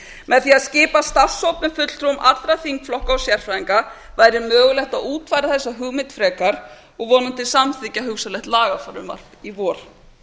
með því að skipa starfshóp með fulltrúum allra þingflokka og sérfræðinga væri mögulegt að útfæra þessa hugmynd frekar og vonandi samþykkja hugsanlegt lagafrumvarp í vor